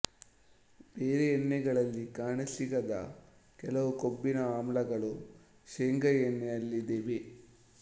ಬೇರೆ ಎಣ್ಣೆಗಳಲ್ಲಿ ಕಾಣಸಿಗದ ಕೆಲವು ಕೊಬ್ಬಿನ ಆಮ್ಲಗಳು ಶೆಂಗಾ ಎಣ್ಣೆಯಲ್ಲಿ ಇವೆ